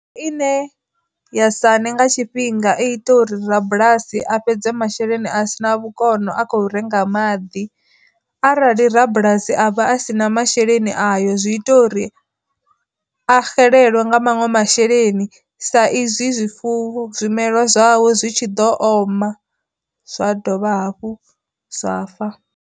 Ine ya sane nga tshifhinga i ita uri rabulasi a fhedze masheleni a sina vhukono a khou renga maḓi, arali rabulasi a vha a si na masheleni zwi ita uri a xelelwe nga maṅwe masheleni sa izwi zwifuwo zwimelwa zwawe zwi tshi ḓo oma zwa dovha hafhu zwa fa.